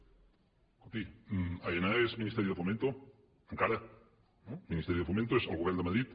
escolti aena és ministerio de fomento encara i ministerio de fomento és el govern de madrid